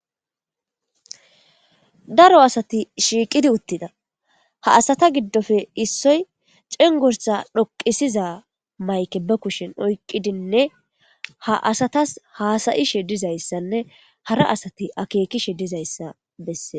Daro asati shiiqidi uttida ha asata giddofe issoy cengorsa dhoqisiza mayke ba kushen oyqqidinne ha asatas haasayishe dizayssanne hara asati akeekishe dizayssa bessee